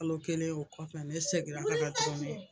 Kalo kelen o kɔfɛ ne seginna ka na tuguni